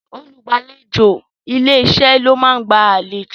Olùgbàlejò ilé-iṣẹ́ ló máa ń gba àlejò